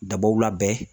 Dabaw labɛn